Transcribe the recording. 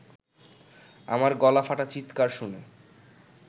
আমার গলা ফাটা চিৎকার শুনে